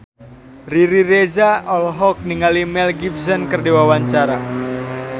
Riri Reza olohok ningali Mel Gibson keur diwawancara